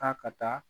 K'a ka taa